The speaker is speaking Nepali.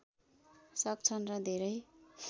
सक्छन् र धेरै